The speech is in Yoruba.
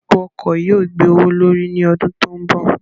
Epo ọkọ̀ yóò gbé owó l'órí ní ọdún tó ń bọ̀.